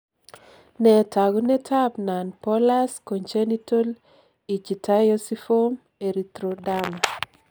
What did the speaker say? Nee taakunetaab Nonbullous congenital ichthyosiform erythroderma?